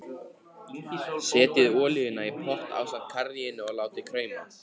Setjið olíuna í pott ásamt karríinu og látið krauma.